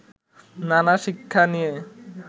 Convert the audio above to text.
নানা শিক্ষা নিয়ে